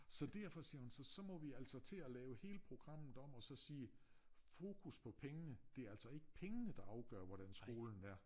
Så derfor siger hun så så må vi altså til at lave hele programmet om og så sige fokus på pengene det er altså ikke pengene der afgør hvordan skolen er